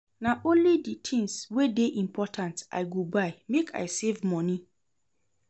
Na only di tins wey dey important I go buy make I save moni.